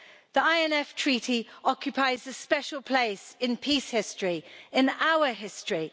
The INF Treaty occupies a special place in peace history in our history.